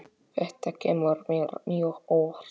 Þetta kemur mér mjög óvart.